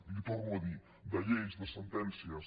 li ho torno a dir de lleis de sentències